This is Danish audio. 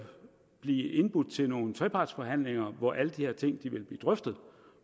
blive indbudt til nogle trepartsforhandlinger hvor alle de her ting vil blive drøftet